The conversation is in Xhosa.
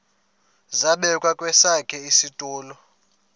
zabekwa kwesakhe isitulo